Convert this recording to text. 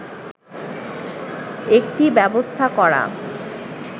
একটি ব্যবস্থা করা